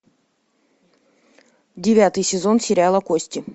девятый сезон сериала кости